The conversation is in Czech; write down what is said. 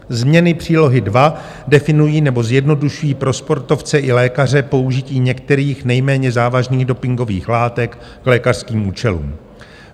Změny přílohy II definují nebo zjednodušují pro sportovce i lékaře použití některých nejméně závažných dopingových látek k lékařským účelům.